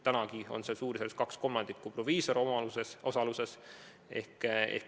Täna on suurusjärgus 2/3 sealsetest apteekidest proviisorite osalusega.